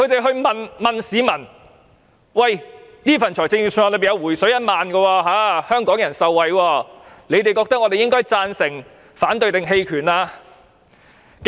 他們問市民，此份預算案有"回水 "1 萬元的措施，令香港人受惠，你們覺得我們應該贊成、反對還是棄權？